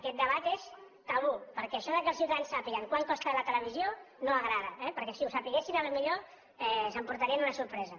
aquest debat és tabú perquè això que els ciutadans sàpiguen quant costa la televisió no agrada eh perquè si ho sabessin potser s’emportarien una sorpresa